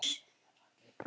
síðast bús.